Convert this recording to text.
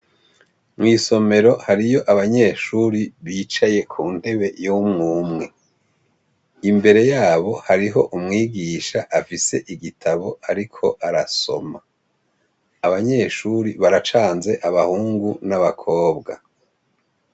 Mw' isomero hariyo abanyeshuri bicaye ku ntebe y' umwe umwe . Imbere yabo hariho umwigisha afise igitabo ariko arasoma . Abanyeshuri baracanze abahungu n'abakobwa.